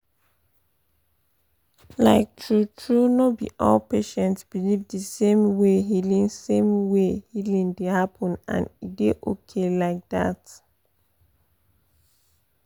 like true-true no be all patients believe the same way healing same way healing dey happen — and e dey okay like that.